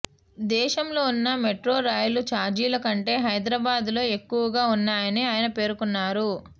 దేశంలో ఉన్న మెట్రోరైలు చార్జీల కంటే హైదరాబాద్లో ఎక్కువగా ఉన్నాయని ఆయన పేర్కొన్నారు